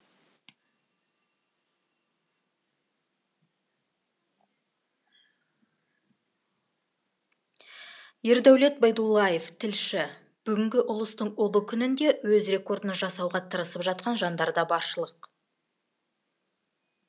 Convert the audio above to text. ердәулет байдуллаев тілші бүгінгі ұлыстың ұлы күнінде өз рекордын жасауға тырысып жатқан жандар да баршылық